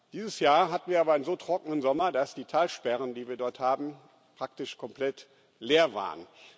Dieses Jahr hatten wir aber einen so trockenen Sommer, dass die Talsperren, die wir dort haben, praktisch komplett leer waren.